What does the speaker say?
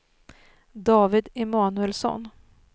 David Emanuelsson